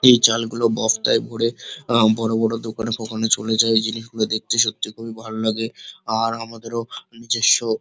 এই চালগুলো বস্তায় ভোরে বড় বড় দোকানে ফোকানে চলে যায় এই জিনিসগুলি দেখতে সত্যি খুবই ভালো লাগে আর আমাদেরও নিজেস্য--